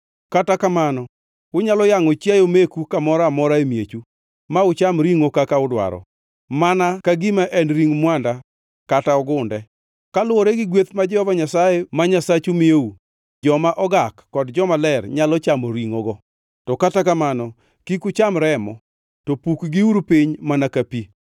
Kata kamano unyalo yangʼo chiayo meku kamoro amora e miechu, ma ucham ringʼo kaka udwaro, mana ka gima en ring mwanda kata ogunde. Kaluwore gi gweth ma Jehova Nyasaye ma Nyasachu miyou, joma ogak kod jomaler nyalo chamo ringʼogo.